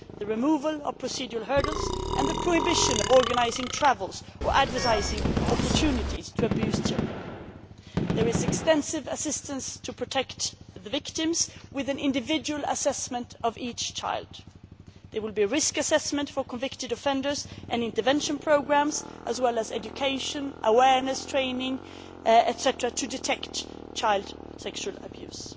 is extra territorial jurisdiction for nationals the removal of procedural hurdles and the prohibition of organising travel or advertising opportunities to abuse children. There is extensive assistance to protect the victims with an individual assessment of each child. There will be risk assessment for convicted offenders and intervention programmes as well as education, awareness